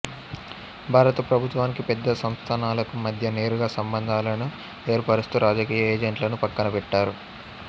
భారత ప్రభుత్వానికి పెద్ద సంస్థానాలకూ మధ్య నేరుగా సంబంధాలను ఏర్పరుస్తూ రాజకీయ ఏజెంట్లను పక్కన పెట్టారు